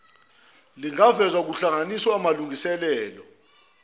lingavezwa kuhlanganisa amalungiselelo